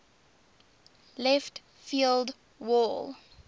left field wall